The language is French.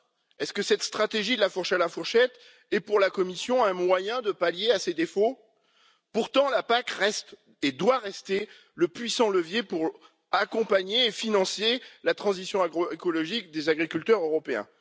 Est ce que cette stratégie de la fourche à la fourchette est, pour la Commission, un moyen de pallier ces défauts? Pourtant la PAC reste, et doit rester, un puissant levier pour accompagner et financer la transition agroécologique des agriculteurs européens.